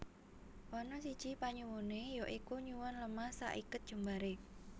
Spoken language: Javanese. Ana siji panyuwuné ya iku nyuwun lemah saiket jembaré